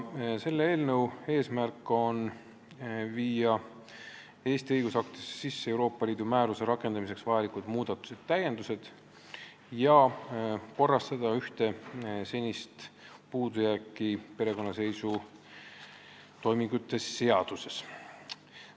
Selle eelnõu eesmärk on viia Eesti õigusaktidesse sisse Euroopa Liidu määruse rakendamiseks vajalikud muudatused ja täiendused ning korrastada ühte senist puudujääki perekonnaseisutoimingute seaduses.